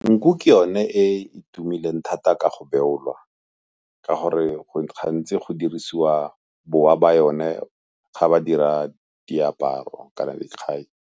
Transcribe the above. Nku ke yone e e tumileng thata ka go beolwa ka gore gantsi go dirisiwa bowa ba yone ga ba dira diaparo kana le .